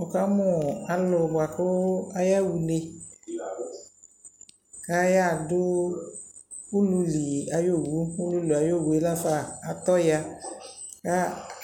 Wʋ ka mʋʋ alʋ bʋa kʋ aya ɣa une, kʋ ayaɣa dʋ uluľi ayʋ owuUluli ayʋ owu ululi ayʋ owu yɛ laafa atɔ ya kʋ